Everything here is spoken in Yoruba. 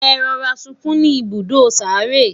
e rọra sunkún ní ibùdó sáré